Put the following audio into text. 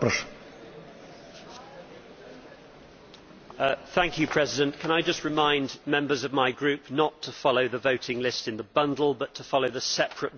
Mr President, can I just remind members of my group not to follow the voting list in the bundle, but to follow the separate voting list that has been distributed on this report.